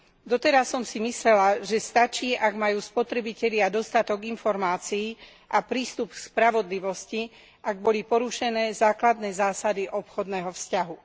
Doteraz som si myslela, že stačí, ak majú spotrebitelia dostatok informácií a prístup k spravodlivosti, ak boli porušené základné zásady obchodného vzťahu.